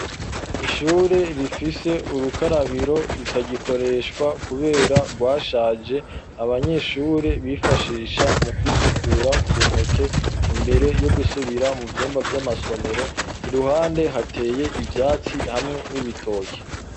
Ishure rifise urukarabiro, rutagikoreshwa kubera rwashaje, abanyeshure bifashisha mu kwisukura ku ntoke ,imbere yo gusubira mu vyumba vy'amasomero, iruhande hateye ivyatsi hamwe n'ibitoke.